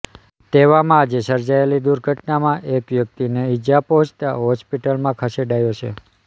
તેવામાં આજે સર્જાયેલી દુર્ઘટનામાં એક વ્યક્તિને ઇજા પહોંચતા હોસ્પિટલમાં ખસેડાયો છે